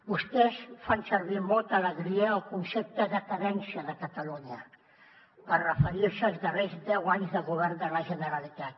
vostès fan servir amb molta alegria el concepte decadència de catalunya per referir se als darrers deu anys de govern de la generalitat